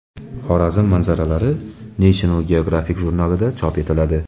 Xorazm manzaralari National Geographic jurnalida chop etiladi.